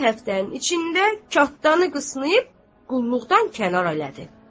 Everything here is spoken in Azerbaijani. Bir həftənin içində katdanı qısnayıb qulluqdan kənar elədi.